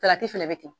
Salati fɛnɛ be ten